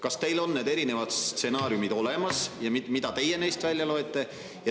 Kas teil on need erinevad stsenaariumid olemas ja mida teie neist välja loete?